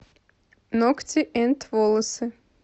ногти энд волосы